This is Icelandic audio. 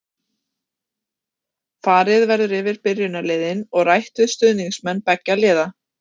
Þessi lyf standa þó fólki í löndunum þremur í Vestur-Afríku ekki til boða.